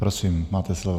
Prosím, máte slovo.